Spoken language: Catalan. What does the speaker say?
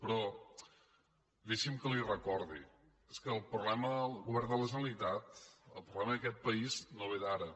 però deixi’m que li ho recordi és que el problema del govern de la generalitat el problema d’aquest país no ve d’ara